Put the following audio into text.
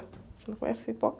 Você não conhece pipoca?